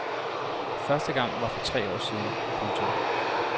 Første gang var for tre år siden. punktum